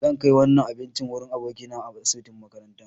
Zan kai wannan abincin wurin abokina a asibitin makaranta.